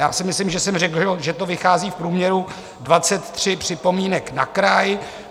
Já si myslím, že jsem řekl, že to vychází v průměru 23 připomínek na kraj.